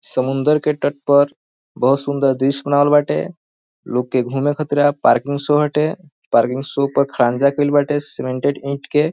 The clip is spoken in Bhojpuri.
समुंदर के तट पर बहुत सुंदर दृश्य बनावल बाटे लोग के घूमे के खातिरा पार्किंग शो हटे पार्किंग शो पर खड़ंजा कैल बाटे सीमेंटेड ईट के।